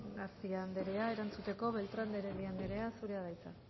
garcía anderea erantzuteko beltrán de heredia anderea zurea da hitza